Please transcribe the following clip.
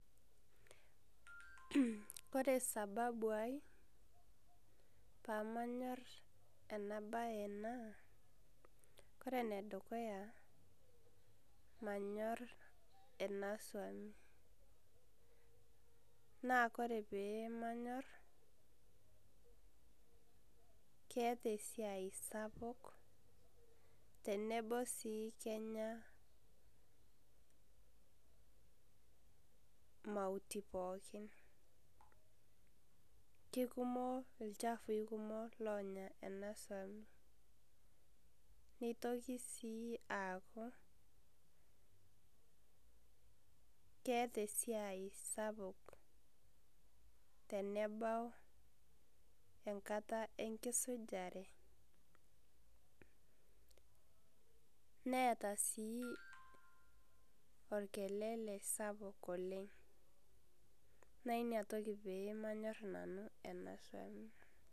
Kore sababu ai paa manyoor ena bayi ena, kore ne dukuya manyoor ena soum naa kore pee manyoor keeta esia sapuk tenebo sii kenyaa mautii pookin. Kekumook lchafui kumook lonyaa ana soum neitokii sii aaku keeta esia sapuk tenebau enkataa enkisujaare. Neeta sii olkelele sapuk oleng'. Naa nia ntokii pee manyoor nanu ena soum.